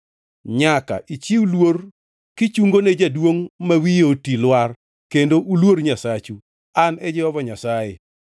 “ ‘Nyaka ichiw luor kichungone jaduongʼ ma wiye oti lwar kendo uluor Nyasachu. An e Jehova Nyasaye.